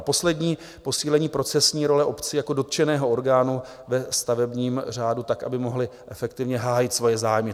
A poslední - posílení procesní role obcí jako dotčeného orgánu ve stavebním řádu tak, aby mohly efektivně hájit svoje zájmy.